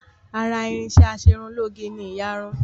Ara irinṣẹ́ Aṣerunlóge ni ìyarun